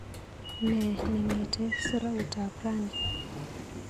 Nee nemiite sroutab rani?